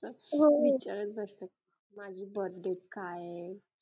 विचारात बसतात माझी birth date काय आहे